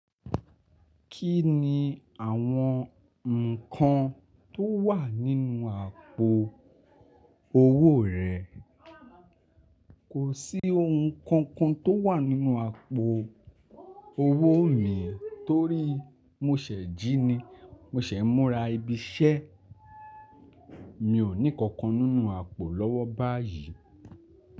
Kí ni àwọn ǹkan tó wà nínú àpò owó rẹ? Kò sí ohun kankan tó wà nínú àpò owó mi torí mo ṣẹ̀ ji ni. Mo ṣẹ̀ múra ibi iṣẹ́, mi ò ní kankan nínú àpò lọ́wọ́ báyìí.